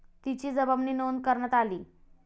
तिची जबानी नोंद करण्यात आली.